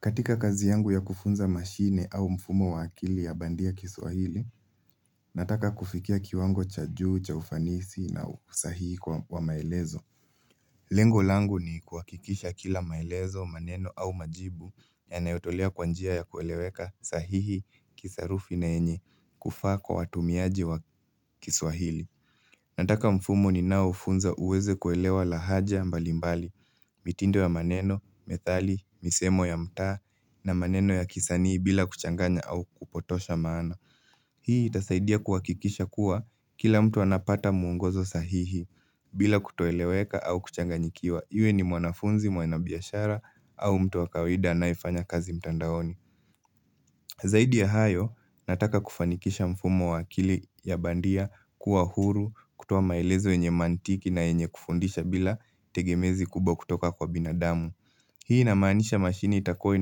Katika kazi yangu ya kufunza mashine au mfumo wa akili ya bandia kiswahili, nataka kufikia kiwango cha juu, cha ufanisi na usahihi kwa maelezo. Lengo langu ni kuhakikisha kila maelezo, maneno au majibu yanayotolea kwa njia ya kueleweka sahihi, kisarufi na yenye kufaa kwa watumiaji wa kiswahili. Nataka mfumo ninaofunza uweze kuelewa lahaja mbalimbali, mitindo ya maneno, methali, misemo ya mtaa na maneno ya kisanii bila kuchanganya au kupotosha maana. Hii itasaidia kuhakikisha kuwa kila mtu anapata mwongozo sahihi bila kutoeleweka au kuchanganyikiwa. Iwe ni mwanafunzi, mwanabiashara au mtu wa kawaida anayefanya kazi mtandaoni. Zaidi ya hayo, nataka kufanikisha mfumo wa akili ya bandia kuwa huru, kutoa maelezo yenye mantiki na yenye kufundisha bila tegemezi kubwa kutoka kwa binadamu. Hii inamaanisha mashine itakuwa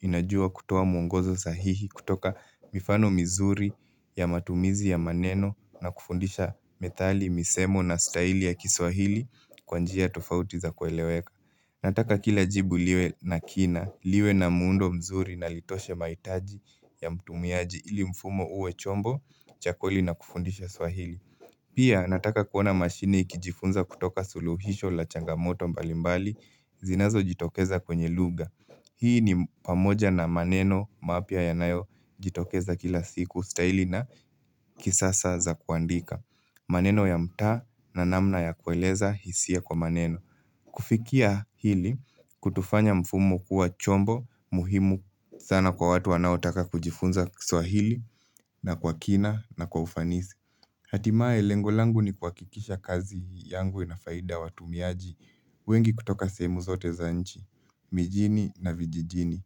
inajua kutoa mwongozo sahihi kutoka mifano mizuri ya matumizi ya maneno na kufundisha methali, misemo na staili ya kiswahili kwa njia tofauti za kueleweka. Nataka kila jibu liwe na kina, liwe na muundo mzuri na litoshe mahitaji ya mtumiaji ili mfumo uwe chombo, cha kweli na kufundisha swahili. Pia nataka kuona mashine ikijifunza kutoka suluhisho la changamoto mbalimbali zinazojitokeza kwenye lugha. Hii ni pamoja na maneno mapya yanayojitokeza kila siku staili na kisasa za kuandika. Maneno ya mtaa na namna ya kueleza hisia kwa maneno. Kufikia hili kutafanya mfumo kuwa chombo muhimu sana kwa watu wanaotaka kujifunza kiswahili na kwa kina na kwa ufanisi Hatimaye lengo langu ni kuhakikisha kazi yangu inafaida watumiaji wengi kutoka sehemu zote za nchi, mijini na vijijini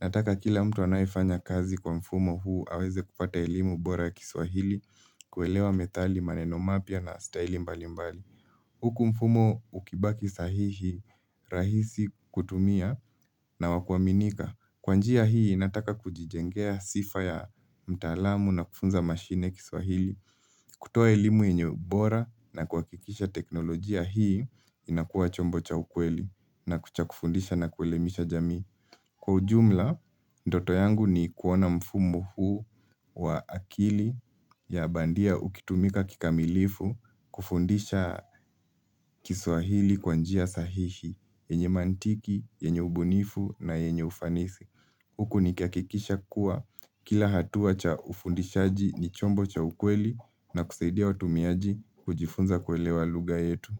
Nataka kila mtu anayefanya kazi kwa mfumo huu aweze kupata elimu bora ya kiswahili kuelewa methali maneno mapya na staili mbalimbali Huku mfumo ukibaki sahihi rahisi kutumia na wa kuaminika. Kwa njia hii nataka kujijengea sifa ya mtaalamu na kufunza mashine kiswahili. Kutoa elimu yenye bora na kuhakikisha teknolojia hii inakuwa chombo cha ukweli na kucha kufundisha na kuelemisha jamii. Kwa ujumla, ndoto yangu ni kuona mfumo huu wa akili ya bandia ukitumika kikamilifu kufundisha kiswahili kwa njia sahihi, yenye mantiki, yenye ubunifu na yenye ufanisi. Huku nikihakikisha kuwa kila hatua cha ufundishaji ni chombo cha ukweli na kusaidia watumiaji kujifunza kuelewa lugha yetu.